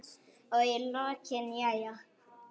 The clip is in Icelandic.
Og í lokin: Jæja.